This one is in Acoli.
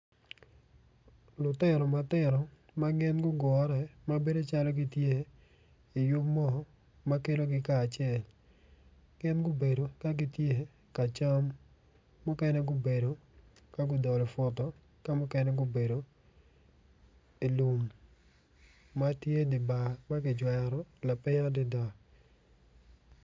Lutino matino ma bedo calo gin gitye i yub mo ma kelogi kacel gin gubedo ka gitye ka cam muknen gubedo ka gudolo put ka mukene gubedo i lum.